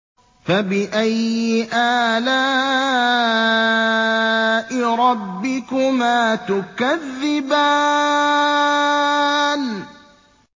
فَبِأَيِّ آلَاءِ رَبِّكُمَا تُكَذِّبَانِ